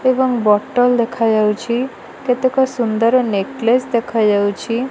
ଏବଂ ବଟଲ୍ ଦେଖାଯାଉଛି। କେତେକ ସୁନ୍ଦର ନେକ୍ଲେସ ଦେଖାଯାଉଛି।